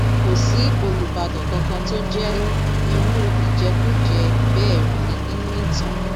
kò sí olùbàdàn kankan tó jẹ irú ìjẹkújẹ bẹẹ rí nínú ìtàn